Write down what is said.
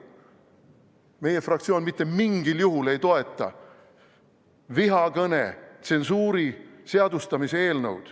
Meie fraktsioon mitte mingil juhul ei toeta vihakõne tsensuuri seadustamise eelnõu.